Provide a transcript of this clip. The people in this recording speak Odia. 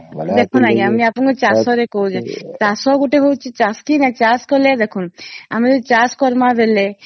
ଦେଖାନୁ ଆଂଜ୍ଞା ମୁ ଆପଣଂକୁ ଚାଷ ରେ କହୁଛି ଚାଷ ଗୋଟେ ହଉଚି ଚାଷୀ କି ନ ଚାଷ କରିଲେ ଦେଖାନୁ ଆମେ ଯଦି ଚାଷ କରିବା ବେଳେ